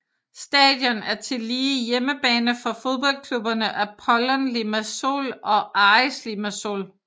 Stadion er tillige hjemmebane for fodboldklubberne Apollon Limassol og Aris Limassol